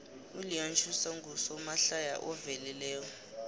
uleon schuster ngusomahlaya oveleleko